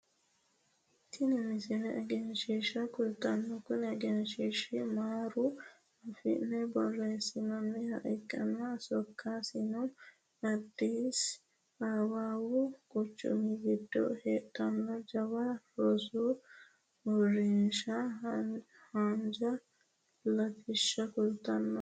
tini mmisile egenshiishsha kultannote kuni egenshiishshino amaaru afiinni borreessinoonniha ikkanna sokkasino addisi awawu quchumi giddo heedhanno jawa rosu uurrinshaha haanja latishsha kulannoho